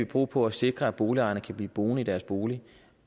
på på at sikre at boligejerne kan blive boende i deres bolig